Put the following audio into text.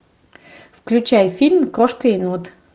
включай фильм крошка енот